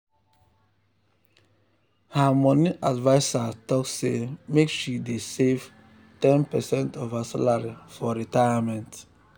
her money adviser talk say make she dey save ten percent of her salary for retirement.